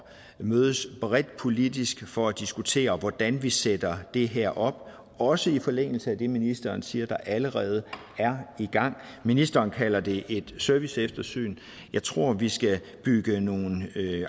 at mødes bredt politisk for at diskutere hvordan vi sætter det her op også i forlængelse af det ministeren siger allerede er i gang ministeren kalder det et serviceeftersyn jeg tror vi skal bygge nogle